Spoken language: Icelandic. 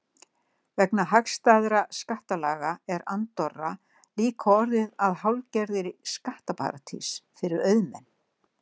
Vegna hagstæðra skattalaga er Andorra líka orðin að hálfgerðri skattaparadís fyrir auðmenn.